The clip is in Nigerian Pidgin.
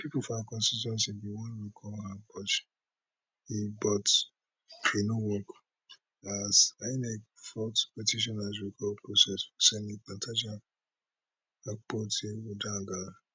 pipo for her constituency bin wan recall her but e but e no work asinec fault petitioners recall process for senator natasha akpotiuduaghan